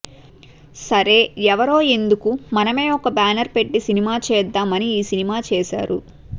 సరే ఎవరో ఎందుకు మనమే ఒక బ్యానేర్ పెట్టి సినిమా చేద్దాం అని ఈ సినిమా చేశారు